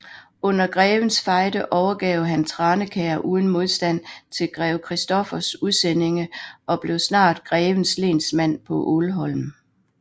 Under Grevens Fejde overgav han Tranekær uden modstand til grev Christoffers udsendinge og blev snart grevens lensmand på Ålholm